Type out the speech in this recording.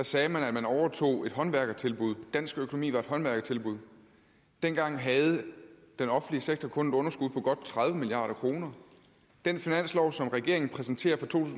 sagde man at man overtog et håndværkertilbud dansk økonomi var et håndværkertilbud dengang havde den offentlige sektor kun et underskud på godt tredive milliard kroner den finanslov som regeringen præsenterer for to